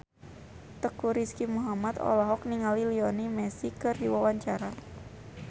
Teuku Rizky Muhammad olohok ningali Lionel Messi keur diwawancara